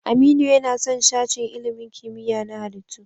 Aminu yana son sashen ilimin kimiyya na halittu.